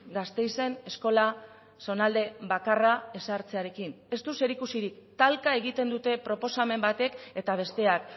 gasteizen eskola zonalde bakarra ezartzearekin ez du zerikusirik talka egiten dute proposamen batek eta besteak